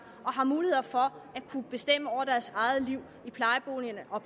og har mulighed for at kunne bestemme over deres eget liv i plejeboligerne og